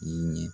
Ɲɛ